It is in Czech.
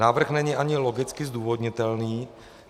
Návrh není ani logicky zdůvodnitelný.